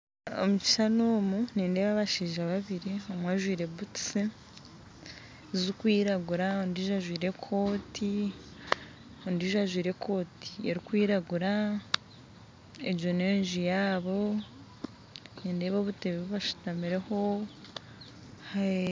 Omukishushani omu nindeba abashaija babiriomwe ajwire butusi zikwiragura ondiijo ajwire ekooti, ondiijo ajwire ekooti erikwiragura, ego n'enju yaabo nindeeba obuteebe bu bashitamireho